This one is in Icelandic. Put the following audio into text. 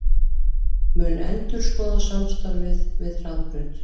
Mun endurskoða samstarfið við Hraðbraut